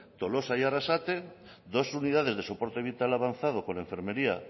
tolosa y arrasate dos unidades de soporte vital avanzado con enfermería